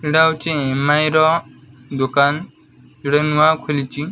ଏଇଟା ହଉଚି ଏମାଇ ର ଦୁକାନ୍ ଯୋଉଟା ନୂଆ ଖୋଲିଚି।